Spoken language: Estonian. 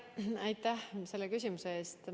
Aitäh selle küsimuse eest!